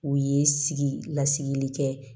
U ye sigi lasigili kɛ